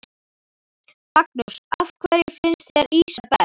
Magnús: Af hverju finnst þér ýsa best?